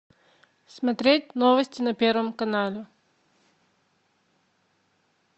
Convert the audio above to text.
смотреть новости на первом канале